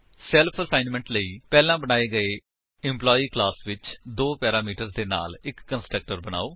self assignment ਲਈ ਪਹਿਲਾਂ ਬਣਾਏ ਗਏ ਐਂਪਲਾਈ ਕਲਾਸ ਵਿੱਚ ਦੋ ਪੈਰਾਮੀਟਰਸ ਦੇ ਨਾਲ ਇੱਕ ਕੰਸਟਰਕਟਰ ਬਨਾਓ